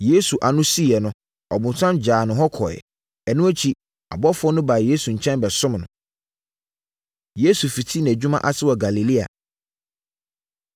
Yesu ano siiɛ no, ɔbonsam gyaa no hɔ kɔeɛ. Ɛno akyi, abɔfoɔ baa Yesu nkyɛn bɛsom no. Yesu Fiti Nʼadwuma Ase Wɔ Galilea